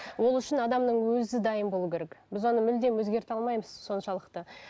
ол үшін адамның өзі дайын болу керек біз оны мүлдем өзгерте алмаймыз соншалықты